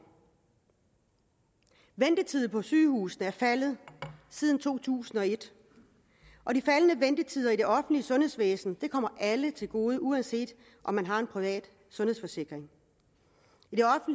ventetiden på sygehusene er faldet siden to tusind og et og de faldende ventetider i det offentlige sundhedsvæsen kommer alle til gode uanset om man har en privat sundhedsforsikring